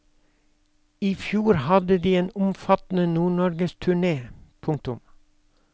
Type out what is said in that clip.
I fjor hadde de en omfattende nordnorgesturne. punktum